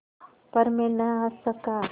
पर मैं न हँस सका